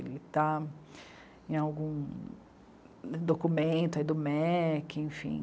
Ele está em algum documento aí do MEC, enfim.